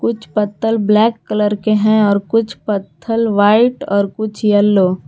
कुछ पत्थल black colour के हैं और कुछ पत्थल वाइट और कुछ येल्लो --